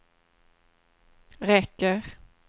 räcker